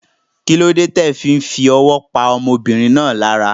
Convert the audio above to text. Kílódé ti o fí n fowó pa ọmọbìnrin náà lára